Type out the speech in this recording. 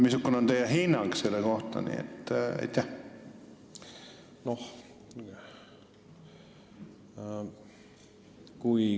Missugune on teie hinnang selle kohta?